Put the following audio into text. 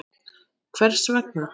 Hvers vegna?